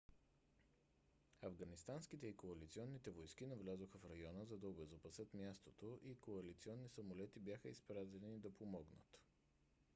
афганистанските и коалиционните войски навлязоха в района за да обезопасят мястото и коалиционни самолети бяха изпратени да помогнат